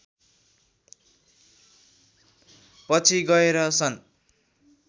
पछि गएर सन्